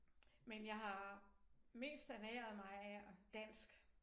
Men jeg har mest ernæret mig dansk